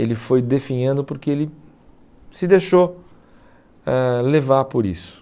Ele foi definhando porque ele se deixou ãh levar por isso.